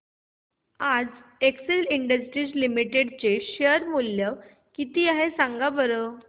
आज Excel Industries Limited चे share चे मूल्य किती आहे सांगा बरं